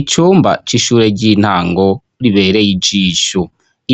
Icumba c'ishure ry'intango ribereye ijisho.